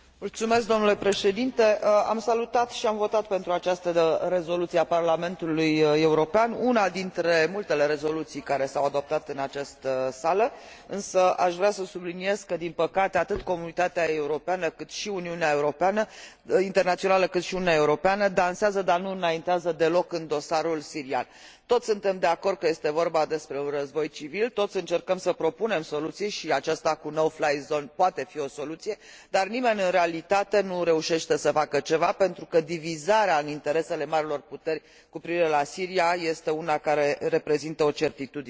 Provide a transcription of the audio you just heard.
Am salutat și am votat pentru această rezoluție a Parlamentului European, una dintre multele rezoluții care s au adoptat în această sală, însă aș vrea să subliniez că, din păcate, atât comunitatea internațională, cât și Uniunea Europeană dansează, dar nu înaintează deloc în dosarul sirian. Toți suntem de acord că este vorba despre un război civil, toți încercăm să propunem soluții și principiul no fly zone poate fi o soluție, dar nimeni, în realitate, nu reușește să facă ceva pentru că divizarea în interesele marilor puteri cu privire la Siria este una care reprezintă o certitudine.